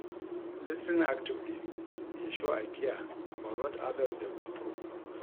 Lis ten ing actively dey show I care about what others dey go through.